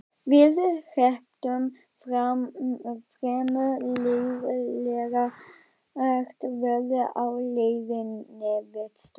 Við hrepptum fremur leiðinlegt veður á leiðinni vestur.